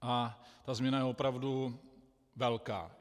A ta změna je opravdu velká.